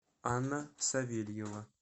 анна савельева